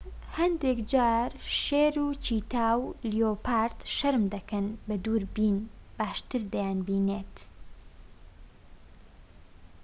هەندێک جار شێر و چیتا و لێۆپارد شەرم دەکەن و بە دووربین باشتر دەیانبینیت